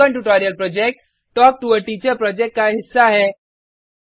spoken tutorial project talk to a teacher project का हिस्सा है